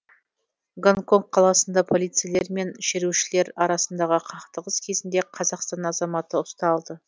гонконг қаласында полицейлер мен шерушілер арасындағы қақтығыс кезінде қазақстан азаматы ұсталды